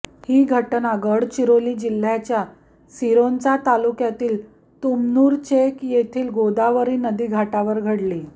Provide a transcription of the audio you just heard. ही घटना गडचिरोली जिल्ह्याच्या सिरोंचा तालुक्यातील तुमनूर चेक येथील गोदावरी नदीघाटावर घडली